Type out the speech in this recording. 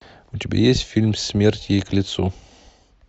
у тебя есть фильм смерть ей к лицу